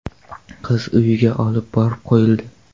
Qiz uyiga olib borib qo‘yildi.